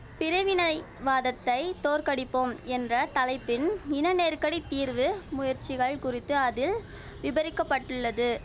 பிரிவினை வாதத்தை தோற்கடிப்போம் என்ற தலைப்பின் இனநெருக்கடித் தீர்வு முயற்சிகள் குறித்து அதில் விபரிக்கப்பட்டுள்ளது